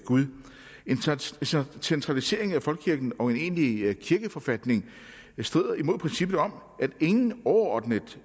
gud en centralisering af folkekirken og en egentlig kirkeforfatning strider imod princippet om at ingen overordnet